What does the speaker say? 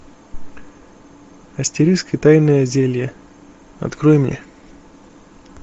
астерикс и тайное зелье открой мне